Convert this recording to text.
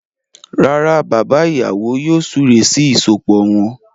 Rárá, bàbá ìyàwó yóò súré sí ìsopọ̀ wọn.